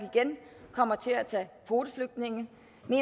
igen kommer til at tage kvoteflygtninge